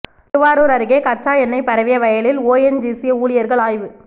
திருவாரூர் அருகே கச்சா எண்ணெய் பரவிய வயலில் ஓஎன்ஜிசி ஊழியர்கள் ஆய்வு